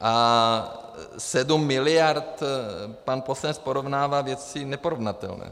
A 7 miliard - pan poslanec porovnává věci neporovnatelné.